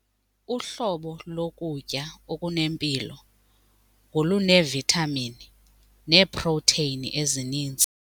Uhlobo lokutya okunempilo ngoluneevithamini neeprotheyini ezininzi.